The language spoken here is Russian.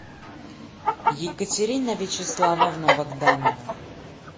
екатерина вячеславовна богданова